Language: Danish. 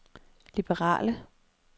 liberale